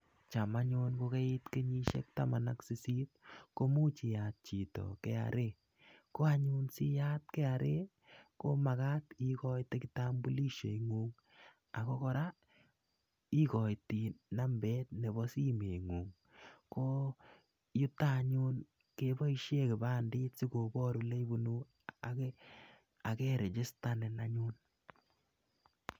cham anyun ko kait kenyisiek taman ak sisit ko much iyat kra ako siiyat ikoitai kitambulisho nengung . yeta anyun keboishe kibandet si kobar oleibunu akeregistanin anyun